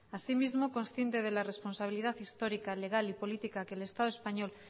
así mismo consciente de la responsabilidad histórica legal y política que el estado español